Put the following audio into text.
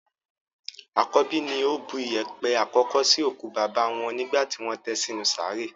Àkọ́bí ni ó bu yèèpẹ̀ àkọ́kọ́ sí òkú bàbá wọn nígbà tí wọ́n tẹ sí inú sàárè.